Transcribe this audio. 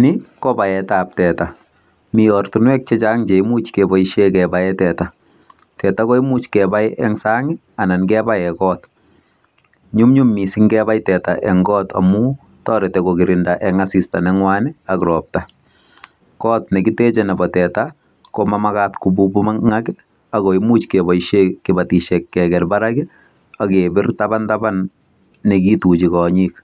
NI ko baet ab teta, mi ortinwek che chang che imuch keboisien kebaen teta. Teta koimuch kebai en sang anan kebai en kot. Nyumnyum miising ingebai teta eng kot amun toreti kogirindaen asista neng'wan ak ropta. Kot ne kiteche nebo teta, komomagat kobubung'ak ago imuch keboisie kebotisie keget barak ak kebir tabantaban ne kituchi kong'ik.